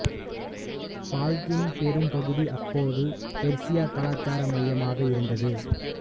Balkin பெரும் பகுதி அப்போது பெர்சிய கலாச்சார மையமாக இருந்தது